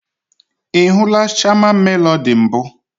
I hụla Shama Melody mbụ?